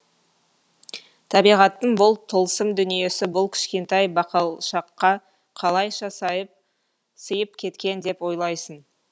табиғаттың бұл тылсым дүниесі бұл кішкентай бақалшаққа қалайша сыйып кеткен деп ойлайсың